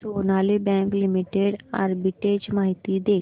Sonali bank limited arbitrage माहिती दे